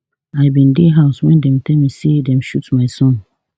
i bin dey house wen dem tell me say dem shoot my son